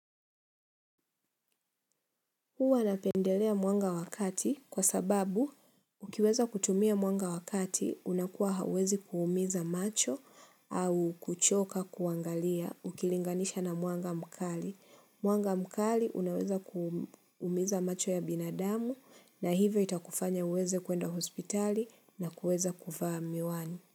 Huwa napendelea mwanga wa wakati kwa sababu ukiweza kutumia mwanga wa wakati unakuwa hauwezi kuumiza macho au kuchoka kuangalia ukilinganisha na mwanga mkali. Mwanga mkali unaweza kuumiza macho ya binadamu na hivyo itakufanya uweze kuenda hospitali na kuweza kuvaa miwani.